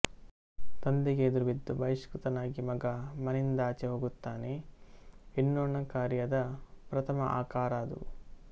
ತಂದೆಗೆ ಎದುರುಬಿದ್ದು ಬಹಿಷ್ಕೃತನಾಗಿ ಮಗ ಮನೆಯಿಂದಾಚೆ ಹೋಗುತ್ತಾನೆ ಎನ್ನೋಣ ಕಾರ್ಯದ ಪ್ರಥಮ ಆಕಾರ ಅದು